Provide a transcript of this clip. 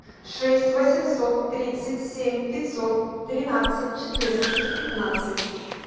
шесть восемьсот тридцать семь пятьсот тринадцать четырнадцать пятнадцать